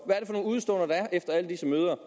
nogle udeståender der er efter alle disse møder